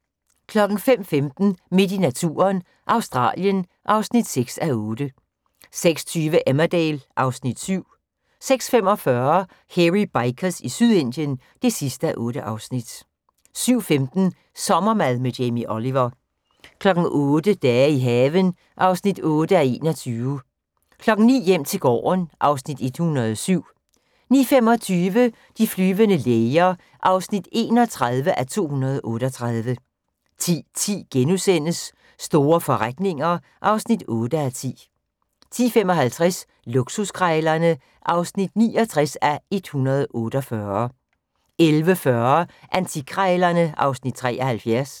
05:15: Midt i naturen – Australien (6:8) 06:20: Emmerdale (Afs. 7) 06:45: Hairy Bikers i Sydindien (8:8) 07:15: Sommermad med Jamie Oliver 08:00: Dage i haven (8:21) 09:00: Hjem til gården (Afs. 107) 09:25: De flyvende læger (31:238) 10:10: Store forretninger (8:10)* 10:55: Luksuskrejlerne (69:148) 11:40: Antikkrejlerne (Afs. 73)